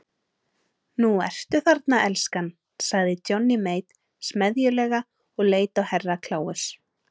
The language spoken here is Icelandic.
Nú ertu þarna elskan, sagði Johnny Mate smeðjulega og leit á Herra Kláus.